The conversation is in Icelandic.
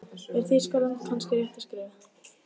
Er Þýskaland kannski rétta skrefið?